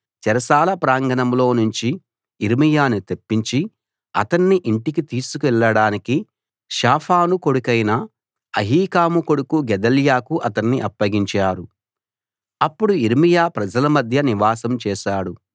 చెరసాల ప్రాంగణంలో నుంచి యిర్మీయాను తెప్పించి అతన్ని ఇంటికి తీసుకెళ్ళడానికి షాఫాను కొడుకైన అహీకాము కొడుకు గెదల్యాకు అతన్ని అప్పగించారు అప్పుడు యిర్మీయా ప్రజల మధ్య నివాసం చేశాడు